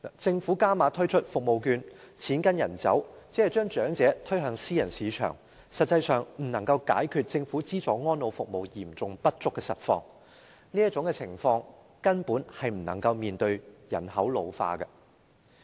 政府加碼推出服務券，錢跟人走，只是將長者推向私人市場，實際上未能解決政府資助安老服務嚴重不足的實況，這種情況根本不能應對人口老化的問題。